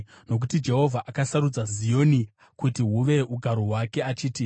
Nokuti Jehovha akasarudza Zioni, akarida kuti huve ugaro hwake achiti,